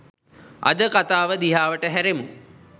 අද කතාව දිහාවට හැරෙමු